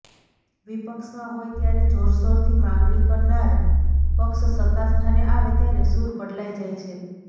વિપક્ષમાં હોય ત્યારે જોરશોરથી માગણી કરનાર પક્ષ સત્તાસ્થાને આવે ત્યારે સુર બદલાઇ જાય છે